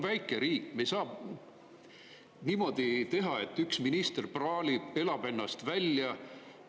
Me oleme väike riik, me ei saa niimoodi teha, et üks minister praalib, elab ennast välja.